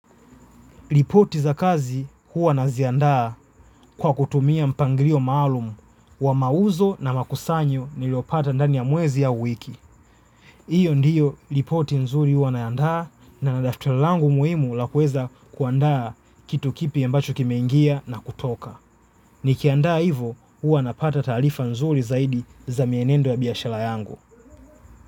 Lipoti za kazi huwa naziandaa kwa kutumia mpangirio maalumu wa mauzo na makusanyo niliopata ndani ya mwezi au wiki. Iyo ndiyo lipoti nzuri huwa naiandaa na na daftali langu muhimu la kuweza kuandaa kitu kipya ambacho kimengia na kutoka. Nikiandaa hivo huwa napata taalifa nzuri zaidi za mienendo ya biashala yangu.